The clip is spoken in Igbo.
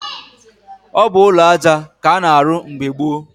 Ọ bụ ụlọaja k'a na-arụ mgbe gboo.